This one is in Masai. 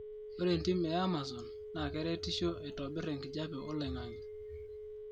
ore entim eamazon na keretisho aitobir enkijape oloingangi